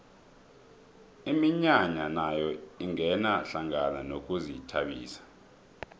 iminyanya nayo ingena hlangana nokuzithabisa